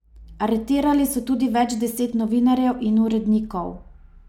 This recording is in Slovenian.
Aretirali so tudi več deset novinarjev in urednikov.